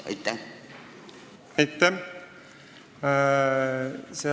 Aitäh!